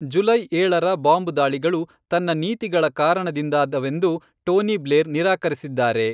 July ಏಳರ bomb ದಾಳಿಗಳು ತನ್ನ ನೀತಿಗಳ ಕಾರಣದಿಂದಾದವೆಂದು ಟೋನಿ ಬ್ಲೇರ್ ನಿರಾಕರಿಸಿದ್ದಾರೆ.